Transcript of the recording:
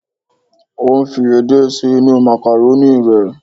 O ń fi edé sí inú màkàrónì rẹ